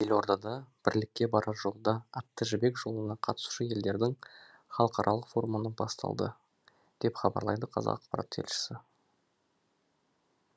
елордада бірлікке барар жолда атты жібек жолына қатысушы елдердің халықаралық форумы басталды деп хабарлайды қазақпарат тілшісі